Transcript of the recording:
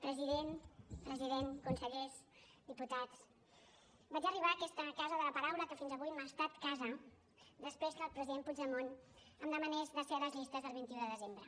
president president consellers diputats vaig arribar a aquesta casa de la paraula que fins avui m’ha estat casa després que el president puigdemont em demanés de ser a les llistes del vint un de desembre